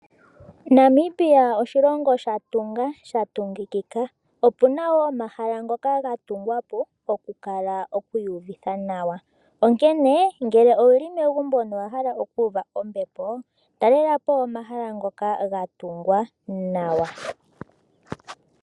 Namibia oshilongo sha tunga sha tungikika. Opu na wo omahala ngoka ga tungwa po okukala oku iyuvitha nawa. Onkene ngele owu li megumbo na owa hala oku uva ombepo, talela po omahala ngoka ga tungwa nawa.